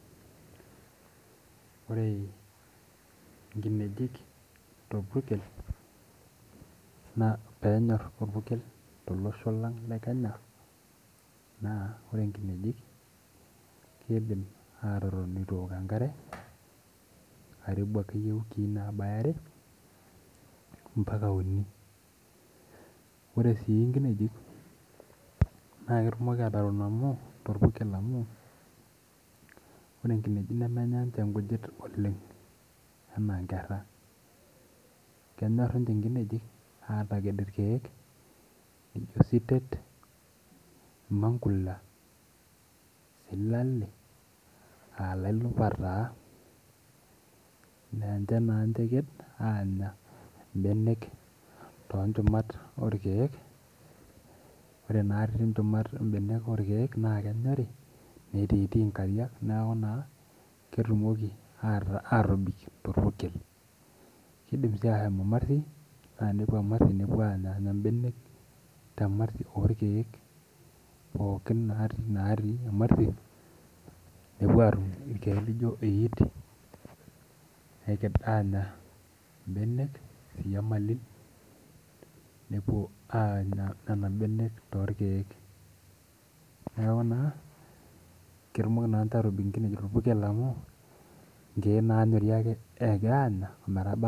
Ore enkinejik torpukel naa penyor orpukel too losho lang' le Kenya naa ore inkinejik kidim atotoni etuu eok enkare karibu akeyie iwiki nabaya are mpaka uni. Ore inkinejik naa ketumoki atotoni torpukel amu ore inkinejik nemenya sii ninche inkujit oleng' anaa inkera. Kenyor ninche inkinejik ataked irkeek laijo isiteet mankula silale aa lepurta taa aa ninche taa ninche eked anya ibenek too nchumat oo irkeek. Ore naari nchumat oo irkeek naa kenyorii netii tii inkariak neeku ketumoki atobik too orpukel. Kidim sii ashom emarti naa tenepuo emarti nepuo anya ibenek tee marti oo irkeek pooki naati emarti nepuo atum irkeek laijo iit eked anya ibenek nepuo anya nena benek too irkeek. Neeku naa ketumoki naa atobik ninche inkinejik torpukel amu nkeek nanyorii ake anyaa ometaba